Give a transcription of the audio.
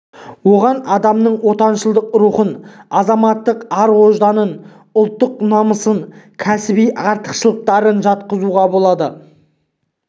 оған адамның отаншылдық рухын азаматтық ар-ожданын ұлттық намысын кәсіби артықшылықтарын жатқызуға болады